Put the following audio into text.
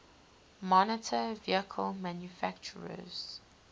motor vehicle manufacturers